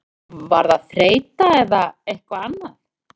Var það þreyta eða eitthvað annað?